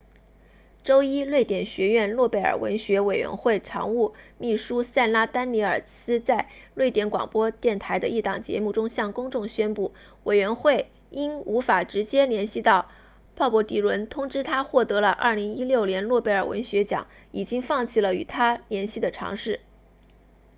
周一瑞典学院诺贝尔文学委员会常务秘书萨拉丹尼尔斯在瑞典广播电台的一档节目中向公众宣布委员会因无法直接联系到鲍勃迪伦通知他获得了2016年诺贝尔文学奖已经放弃了与他联系的尝试